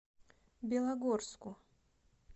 белогорску